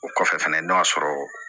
O kɔfɛ fɛnɛ n'o y'a sɔrɔ